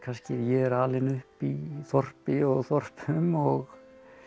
ég er alinn upp í þorpi og þorpum og